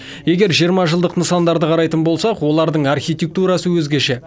егер жиырма жылдық нысандарды қарайтын болсақ олардың архитектурасы өзгеше